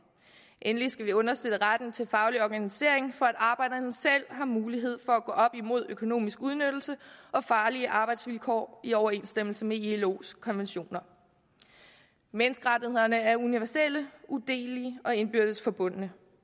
endelig skal vi understøtte retten til faglig organisering for at arbejderne selv har mulighed for at gå op imod økonomisk udnyttelse og farlige arbejdsvilkår i overensstemmelse med ilos konventioner menneskerettighederne er universelle udelelige og indbyrdes forbundne